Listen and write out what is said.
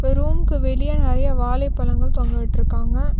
ரூம்க்கு வெளிய நறையா வாழைப்பழங்கள் தொங்கவிட்ருக்காங்க.